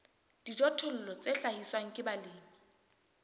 dijothollo tse hlahiswang ke balemi